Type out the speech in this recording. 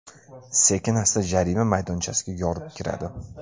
Sekin-asta jarima maydonchasiga yorib kiradi.